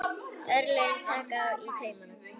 Örlögin taka í taumana